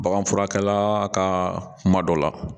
Bagan furakɛla ka kuma dɔ la